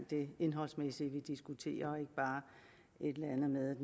det indholdsmæssige vi diskuterer og ikke bare et eller andet med